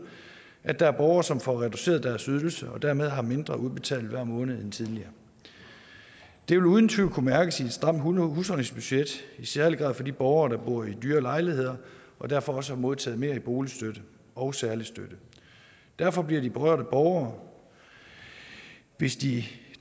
at der er borgere som får reduceret deres ydelse og dermed har mindre udbetalt hver måned end tidligere det vil uden tvivl kunne mærkes i et stramt husholdningsbudget i særlig grad for de borgere der bor i dyre lejligheder og derfor også har modtaget mere i boligstøtte og særlig støtte derfor bliver de berørte borgere hvis de